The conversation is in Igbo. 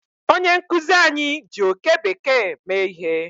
Onye nkuzi anyi ji oke bekee mee ihe